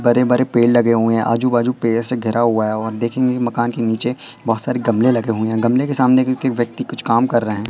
बड़े बड़े पेड़ लगे हुए है आजू बाजू पेड़ से घिरा हुआ है और देखेंगे मकान के नीचे बहोत सारे गमले लगे हुए हैं गमले के सामने क्योंकि व्यक्ति कुछ काम कर रहे हैं।